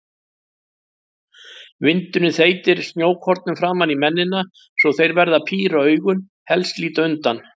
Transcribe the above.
Vindurinn þeytir snjókornum framan í mennina svo þeir verða að píra augun, helst líta undan.